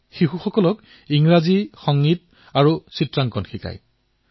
তেওঁ শিশুসকলক ইংৰাজী সংগীত আৰু চিত্ৰকলা শিকায়